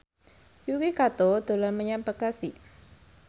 Yuki Kato dolan menyang Bekasi